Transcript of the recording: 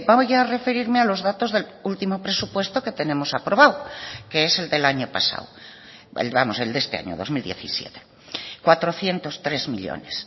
voy a referirme a los datos del último presupuesto que tenemos aprobado que es el del año pasado vamos el de este año dos mil diecisiete cuatrocientos tres millónes